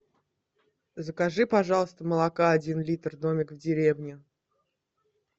закажи пожалуйста молока один литр домик в деревне